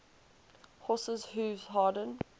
horses hooves harden